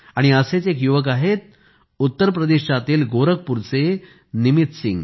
असेच एक युवक आहेत उत्तर प्रदेशात गोरखपूरचे निमित सिंह